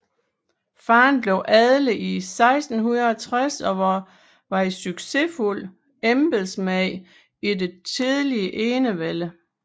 Faderen blev adlet 1660 og var en succesfuld embedsmand i den tidlige enevælde